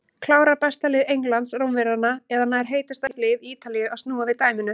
Klárar besta lið Englands Rómverjana eða nær heitasta lið Ítalíu að snúa við dæminu?